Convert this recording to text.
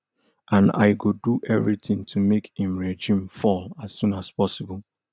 and i go do everitin to make im regime fall as soon as possible